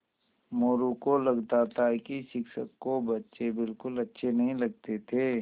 मोरू को लगता था कि शिक्षक को बच्चे बिलकुल अच्छे नहीं लगते थे